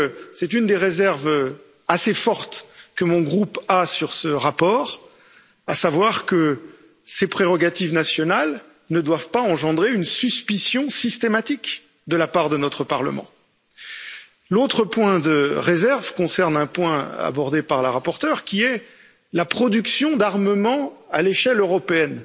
C'est une des réserves assez fortes que mon groupe a sur ce rapport, à savoir que ces prérogatives nationales ne doivent pas engendrer une suspicion systématique de la part de notre Parlement. L'autre point de réserve concerne un point abordé par la rapporteure, qui est la production d'armement à l'échelle européenne.